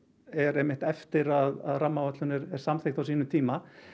er eftir að rammaáætlun er samþykkt á sínum tíma